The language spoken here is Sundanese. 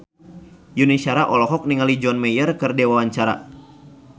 Yuni Shara olohok ningali John Mayer keur diwawancara